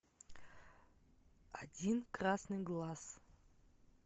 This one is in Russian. один красный глаз